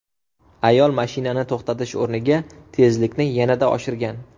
Ayol mashinani to‘xtatish o‘rniga tezlikni yanada oshirgan.